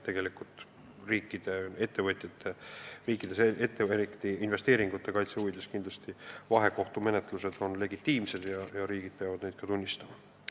Tegelikult on riikide ettevõtjate investeeringute kaitse huvides tehtavad vahekohtute menetlused legitiimsed ja riigid peavad neid ka tunnustama.